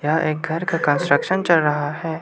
यह एक घर का कंस्ट्रक्शन चल रहा है।